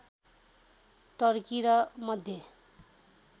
Turkey र मध्य